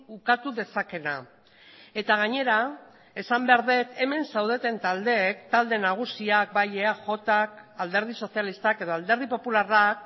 ukatu dezakeena eta gainera esan behar dut hemen zaudeten taldeek talde nagusiak bai eajk alderdi sozialistak edo alderdi popularrak